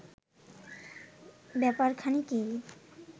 ব্যাপারখানা কি